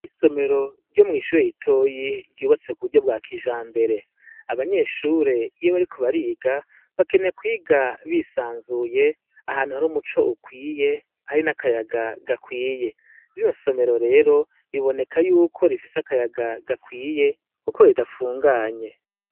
Isomero ryo mw'ishure ritoya ryubatse ku buhinga bwa kijambere. Abanyeshure iyo bariko bariga, bakeneye kwiga bisanzuye ahantu hari umuco ukwiye, hari n' akayaga gakwiye. Rino somero rero, biboneka yuko rifise akayaga gakwiye kuko ridafunganye.